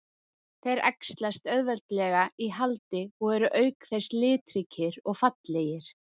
Þeir æxlast auðveldlega í haldi og eru auk þess litríkir og fallegir.